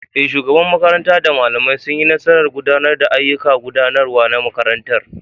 Eh, shugabar makaranta da malamai sun yi nasarar gudanar da ayyukan gudanarwa na makarantar.